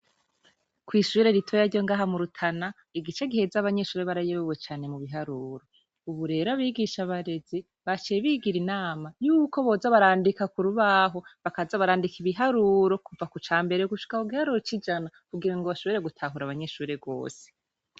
Kw'ishure ritoya ryo ngaha mu Rutana igice giheze abanyeshure barayobwe cane mu biharuro. Ubu rero abigisha-barezi baseye bigira inama yuko boza barandika ku rubaho bakaza barandika ibiharuro kuva ku ca mbere gushika aho igiharuro c'ijana kugira ngo bashobore gutahura abanyeshure rwose.